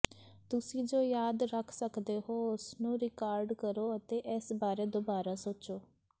ਤੁਸੀਂ ਜੋ ਯਾਦ ਰੱਖ ਸਕਦੇ ਹੋ ਉਸਨੂੰ ਰਿਕਾਰਡ ਕਰੋ ਅਤੇ ਇਸ ਬਾਰੇ ਦੁਬਾਰਾ ਸੋਚੋ